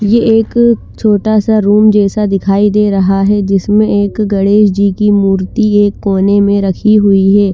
ये एक छोटा सा रूम जेसा दिखाई दे रहा हे जिसमे एक गणेश जी की मूर्ति एक कोने में रखी हुई हे।